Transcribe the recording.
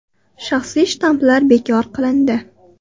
Shaxsiy shtamplar bekor qilindi.